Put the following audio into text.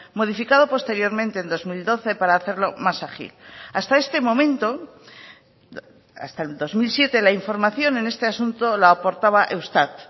modificado posteriormente en dos mil doce para hacerlo más ágil hasta este momento hasta el dos mil siete la información en este asunto la aportaba eustat